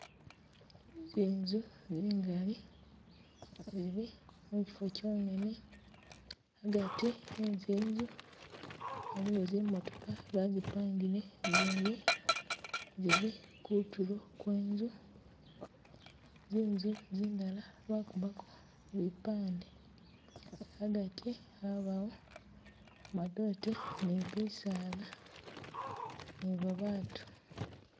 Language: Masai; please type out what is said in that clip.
Zinzu zingali zili muchifo kyongene, agati e'zinzu waliwo zi'motooka bazipangile zindi zili kutulo kwe nzu, zinzu zindala bakubaako bipande, agati abawo madote ni bisaala ni babatu